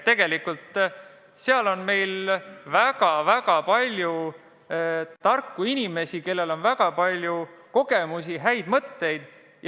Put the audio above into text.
Tegelikult on meil väga-väga palju tarku inimesi, kellel on väga palju kogemusi ja häid mõtteid.